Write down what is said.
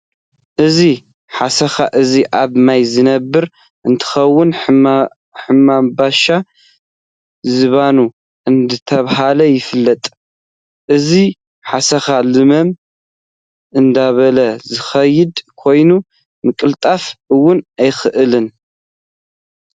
እዚ ሓሰካ እዚ ኣብ ማይ ዝነብር እንትከውን ሕምባሻ ዝባኑ እንዳተባሃለ ይፍለጥ። እዚ ኣሰካ ለመም እንዳበለ ዝከድ ኮይኑ ምቅልጣፍ እውን ኣይክእልን።